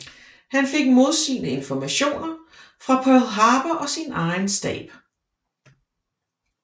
Han fik modsigende informationer fra Pearl Harbor og sin egen stab